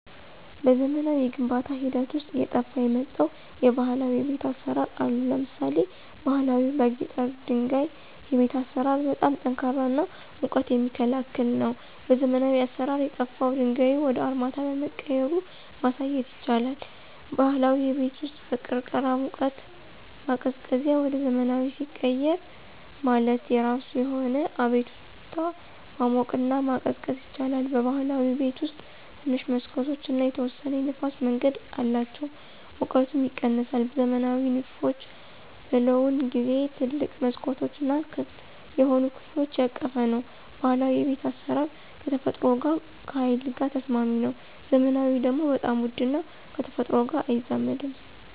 በዘመናዊ የግንባታ ሂደት ውስጥ አየጠፍ የመጣው የባህላዊ የቤት አሰራር አሉ። ለምሳሌ ባሀላዊ በጊጠኛ ድንጋይ የቤት አሰራር በጣም ጠንካራ እና ሙቀት የሚክላከል ነው። በዘመናዊ አሰራር የጠፍው ድንጋዩ ወደ አርማታ በመቀየራ ማሳየት ይቻላል። ባህላዊ የቤት ውስጥ በቅርቅህ ሙቀት ማቀዝቀዚያ ወደ ዘመናዊ ሲቀየር HVAC ማለት የራሱ የሆነ አቤቱታ ማሞቅና መቀዝቀዝ ይችላል። በብህላዊ ቤት ውስጥ ትንሽ መሠኮቶች እና የተወሰነ የንፍስ መንገድ አላቸው ሙቀቱም ይቀነሳል። ዘመናዊ ንድፎች በለውን ጊዜው ትልቅ መስኮቶች እና ክፍት የሆኑ ከፍሎች ያቀፈ ነው። ባህላዊ የቤት አስራር ከተፈጥሮ ጋር ከሀይል ጋር ተስማሚ ነው። ዘመናዊ ደግሞ በጣም ውድ እና ከተፈጥሮ ጋር አይዛመድም።